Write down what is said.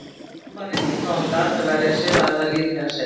Þótt mamma reyndi hvað hún gat að verja sig hafði það lítið að segja.